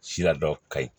Sira dɔ ka ɲi